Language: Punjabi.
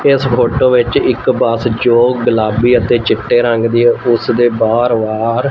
ਕਿਸ ਫੋਟੋ ਵਿੱਚ ਇੱਕ ਬੱਸ ਜੋ ਗੁਲਾਬੀ ਅਤੇ ਚਿੱਟੇ ਰੰਗ ਦੀ ਉਸ ਦੇ ਬਾਹਰ ਵਾਰ--